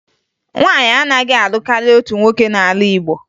Nwaanyị anaghị alụ karịa otu nwoke n'ala Igbo